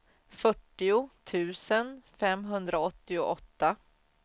fyrtio tusen femhundraåttioåtta